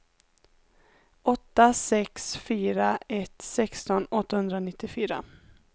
åtta sex fyra ett sexton åttahundranittiofyra